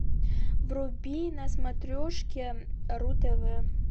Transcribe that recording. вруби на смотрешке ру тв